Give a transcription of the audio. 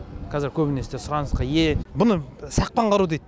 қазір көбінесе сұранысқа ие бұны сақпан қару дейді